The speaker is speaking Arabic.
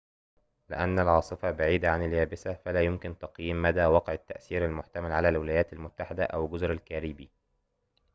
لأن العاصفة بعيدة عن اليابسة فلا يمكن تقييم مدى وقع التأثير المحتمل على الولايات المتحدة أو جزر الكاريبي